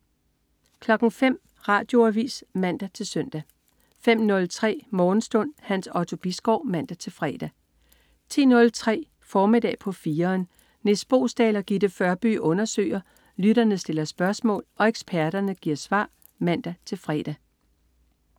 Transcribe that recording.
05.00 Radioavis (man-søn) 05.03 Morgenstund. Hans Otto Bisgaard (man-fre) 10.03 Formiddag på 4'eren. Nis Boesdal og Gitte Førby undersøger, lytterne stiller spørgsmål og eksperterne giver svar (man-fre)